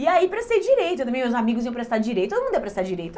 E aí prestei Direito, também meus amigos iam prestar Direito, todo mundo ia prestar Direito?